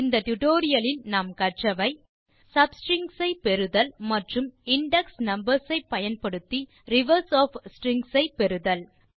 இந்த டுடோரியலில் கற்றவை sub ஸ்ட்ரிங்ஸ் ஐ பெறுதல் மற்றும் இண்டெக்ஸ் நம்பர்ஸ் ஐ பயன்படுத்தி ரிவர்ஸ் ஒஃப் ஸ்ட்ரிங் ஐ பெறுதல்